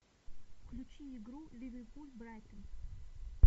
включи игру ливерпуль брайтон